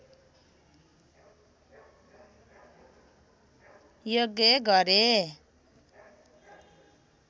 यज्ञ गरे